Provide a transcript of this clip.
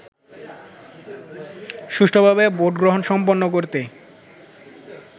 সুষ্ঠুভাবে ভোটগ্রহণ সম্পন্ন করতে